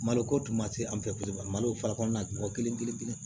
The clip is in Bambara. Malo ko tun ma se an fɛ malo fa kɔnɔna kelen kelen kelen